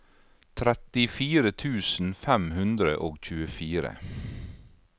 trettifire tusen fem hundre og tjuefire